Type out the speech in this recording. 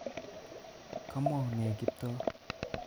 Komwaun ne Kiptoo?